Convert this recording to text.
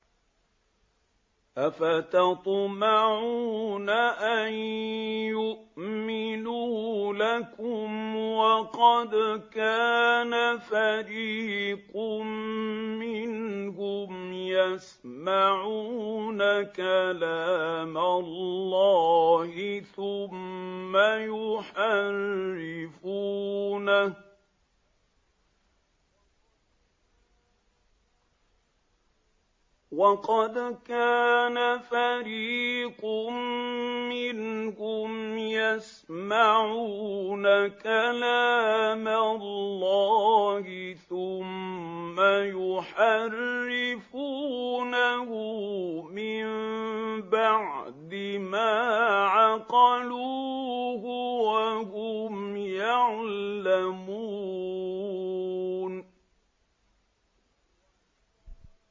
۞ أَفَتَطْمَعُونَ أَن يُؤْمِنُوا لَكُمْ وَقَدْ كَانَ فَرِيقٌ مِّنْهُمْ يَسْمَعُونَ كَلَامَ اللَّهِ ثُمَّ يُحَرِّفُونَهُ مِن بَعْدِ مَا عَقَلُوهُ وَهُمْ يَعْلَمُونَ